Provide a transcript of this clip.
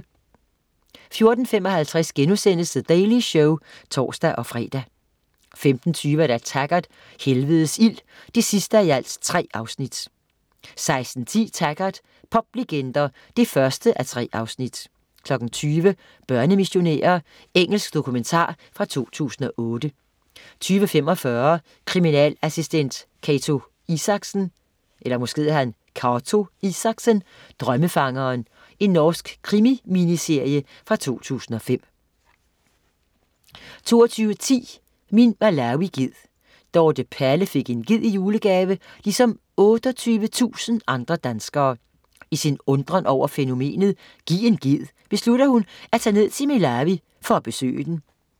14.55 The Daily Show* (tors-fre) 15.20 Taggart: Helvedes ild 3:3 16.10 Taggart: Poplegender 1:3 20.00 Børnemissionærer. Engelsk dokumentar fra 2008 20.45 Kriminalassistent Cato Isaksen: Drømmefangeren. Norsk krimi-miniserie fra 2005 22.10 Min Malawi-ged. Dorte Palle fik en ged i julegave, ligesom 28.000 andre danskere. I sin undren over fænomenet "giv en ged" beslutter hun at tage ned til Malawi for at besøge den